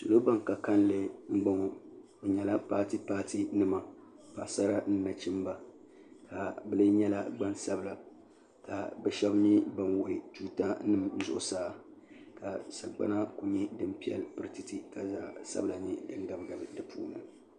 Salo bini ka kanli mbɔŋɔ bi nyɛla paati paati nima paɣisara ni nachimba ka bi lɛɛ nyɛla gbaŋ sabila ka bi shɛba nyɛ bini wuɣi tuuta nima zuɣusaa ka sagbana kuli nyɛ dini piɛlli para tɛtɛtɛ ka zaɣi sabila lɛɛ n gabi gabi di puuni.